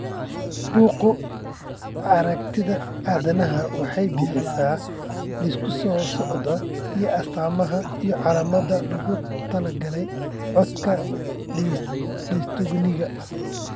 Bugga Aragtiyaha Aadanaha waxay bixisaa liiska soo socda ee astamaha iyo calaamadaha loogu talagalay codka dystoniga.